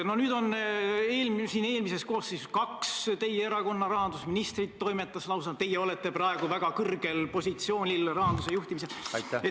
Eelmises koosseisus toimetasid lausa kaks teie erakonna rahandusministrit, teie olete praegu väga kõrgel positsioonil rahanduse juhtimisel.